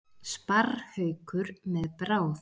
Sparrhaukur með bráð.